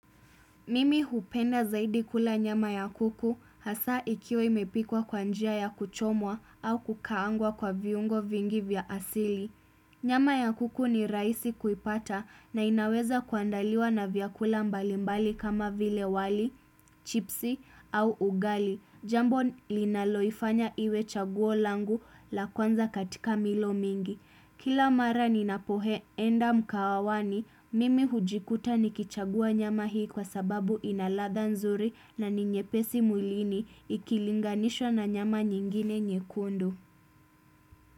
Mimi hupenda zaidi kula nyama ya kuku hasa ikiwa imepikwa kwa njia ya kuchomwa au kukaangwa kwa viungo vingi vya asili. Nyama ya kuku ni rahisi kuipata na inaweza kuandaliwa na vyakula mbalimbali kama vile wali, chipsi au ugali. Jambo linaloifanya iwe chaguo langu la kwanza katika milo mingi. Kila mara ninapoenda mkahawani, mimi hujikuta nikichagua nyama hii kwa sababu ina ladha nzuri na ninyepesi mwilini ikilinganishwa na nyama nyingine nyekundu.